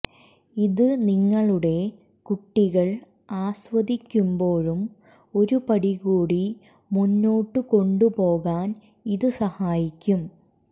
ഇത് നിങ്ങളുടെ കുട്ടികൾ ആസ്വദിക്കുമ്പോഴും ഒരു പടി കൂടി മുന്നോട്ടുകൊണ്ടുപോകാൻ ഇത് സഹായിക്കും